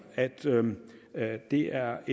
at at det er